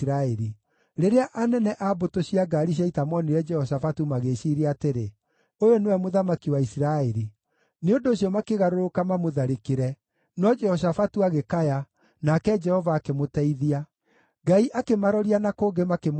Rĩrĩa anene a mbũtũ cia ngaari cia ita moonire Jehoshafatu magĩĩciiria atĩrĩ, “Ũyũ nĩwe mũthamaki wa Isiraeli” Nĩ ũndũ ũcio makĩgarũrũka mamũtharĩkĩre, no Jehoshafatu agĩkaya, nake Jehova akĩmũteithia. Ngai akĩmaroria na kũngĩ, makĩmweherera,